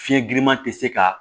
Fiɲɛ giriman tɛ se ka